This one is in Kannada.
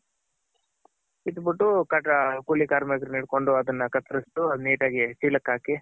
ಕಿತ್ ಬಿಟ್ಟು ಕೂಲಿ ಕಾರ್ಮಿಕರನ್ ಹಿಡ್ಕೊಂಡ್ ಅದನ್ನ ಕತ್ರ್ಸ್ ಅದ್ ನಿಟಾಗ್ ಚೀಲಕ್ ಹಾಕಿ